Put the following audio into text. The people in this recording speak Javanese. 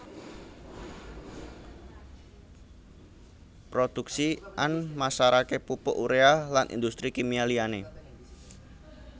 Produksi an masarake pupuk Urea lan industri kimia liyane